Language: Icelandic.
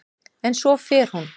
En svo fer hún.